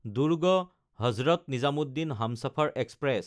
দুৰ্গ–হজৰত Nizamuddin Humsafar express